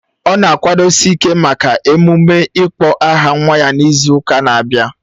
Ọ na-akwadosi ịke maka emume ịkpọ aha nwa ya n'izu ụka na-abịa